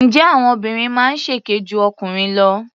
Ǹjẹ́ àwọn obìnrin máa ń ṣèké ju ọkùnrin lọ?